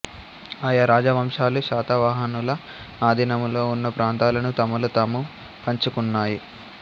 ఆయా రాజవంశాలు శాతవాహనుల ఆధీనములో ఉన్న ప్రాంతాలను తమలో తాము పంచుకున్నాయి